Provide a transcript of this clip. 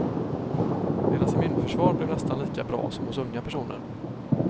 Deras immunförsvar blev nästan lika bra som hos unga personer.